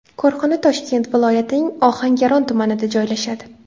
Korxona Toshkent viloyatining Ohangaron tumanida joylashadi.